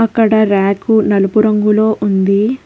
అక్కడ రాకు నలుపు రంగులో ఉంది.